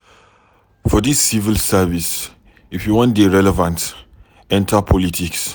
For dis civil service, if you wan dey relevant, enta politics.